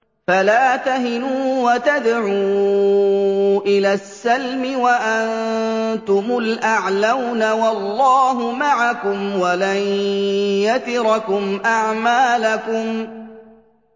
فَلَا تَهِنُوا وَتَدْعُوا إِلَى السَّلْمِ وَأَنتُمُ الْأَعْلَوْنَ وَاللَّهُ مَعَكُمْ وَلَن يَتِرَكُمْ أَعْمَالَكُمْ